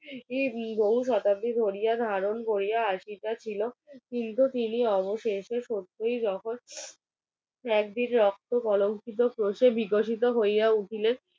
বহু শতাব্দি ধরিয়া ধারণ করিয়া আশিতা ছিল কিন্তু শেষ অবশেষে একদিন রক্ত কলঙ্কিত প্রকাশিত বিকশিত হইয়া উঠিলেন